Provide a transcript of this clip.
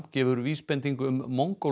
gefur vísbendingu um